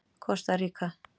Kosta Ríka